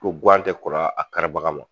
Ko guwan tɛ kɔrɔ a karibaga ma.